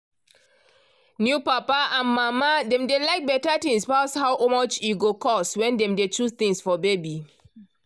new papa and mama dem dey like better things pass how much e go cost when dem dey choose things for baby.